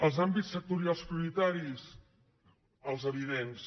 els àmbits sectorials prioritaris els evidents